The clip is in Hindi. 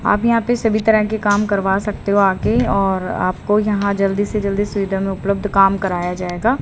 आप यहां पे सभी तरह के काम करवा सकते हो आके और आपको यहां जल्दी से जल्दी सुविधा में उपलब्ध काम कराया जाएगा।